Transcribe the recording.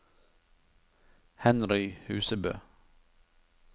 Henry Husebø